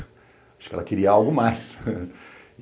Acho que ela queria algo mais.